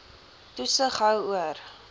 toesig hou oor